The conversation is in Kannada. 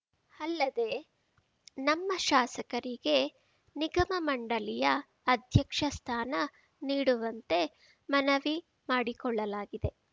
ಅಲ್ಲದೆ ನಮ್ಮ ಶಾಸಕರಿಗೆ ನಿಗಮ ಮಂಡಳಿಯ ಅಧ್ಯಕ್ಷ ಸ್ಥಾನ ನೀಡುವಂತೆ ಮನವಿ ಮಾಡಿಕೊಳ್ಳಲಾಗಿದೆ